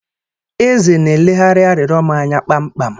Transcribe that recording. Eze na-eleghara arịrịọ m anya kpamkpam.